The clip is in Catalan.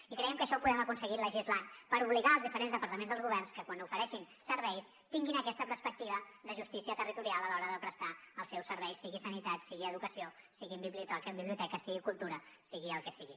i creiem que això ho podem aconseguir legislant per obligar els diferents departaments del govern que quan ofereixin serveis tinguin aquesta perspectiva de justícia territorial a l’hora de prestar els seus serveis sigui sanitat sigui educació siguin biblioteques sigui cultura sigui el que sigui